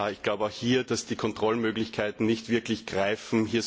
Ich glaube, dass auch hier die Kontrollmöglichkeiten nicht wirklich greifen.